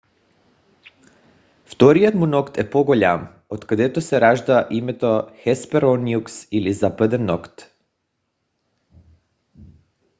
вторият му нокът е по-голям откъдето се ражда името хеспероникус или западен нокът